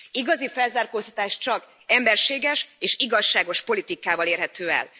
Igazi felzárkóztatás csak emberséges és igazságos politikával érhető el.